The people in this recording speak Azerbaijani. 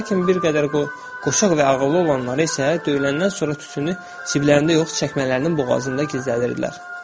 Lakin bir qədər qoçaq və ağıllı olanları isə döyüləndən sonra tütünü ciblərində yox, çəkmələrinin boğazında gizlədirdilər.